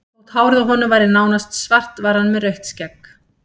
Þótt hárið á honum væri nánast svart var hann með rautt skegg.